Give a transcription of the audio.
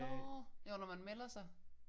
Nå jo når man melder sig